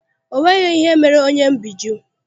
O nweghị ihe mere onyebbijụ́